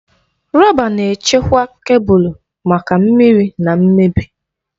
Rọba na-echekwa kebụl maka mmiri na mmebi.